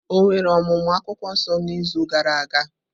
Ọ̀ nwere ọmụmụ akwukwuo nso n’izu gara aga?